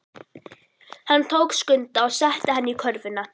Hann tók Skunda og setti hann í körfuna.